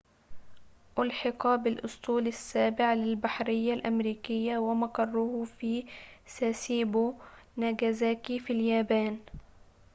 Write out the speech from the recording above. أُلحق بالأسطول السابع للبحرية الأمريكية ومقره في ساسيبو ناجازاكي في اليابان